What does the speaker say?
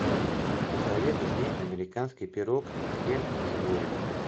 посоветуй мне американский пирог все в сборе